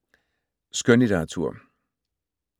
Skønlitteratur